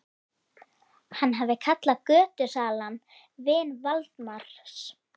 Hann hafði kallað götusalann vin Valdimars.